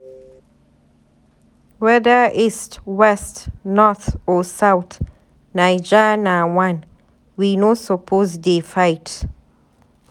whether east, west, north or south, Naija na one. We no suppose dey fight.